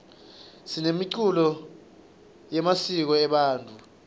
sinemiculo yemisiko ebantfu